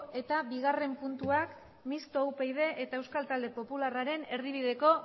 eta bigarren puntuak mistoa upyd eta euskal talde popularraren erdibideko